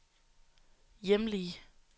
hjemlige